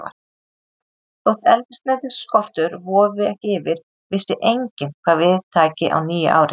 Þótt eldsneytisskortur vofði ekki yfir, vissi enginn, hvað við tæki á nýju ári.